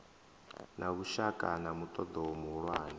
na vhushaka na muṱoḓo muhulwane